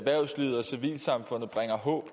må